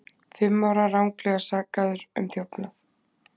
Fimm ára ranglega sakaður um þjófnað